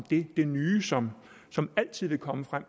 det nye som som altid vil komme frem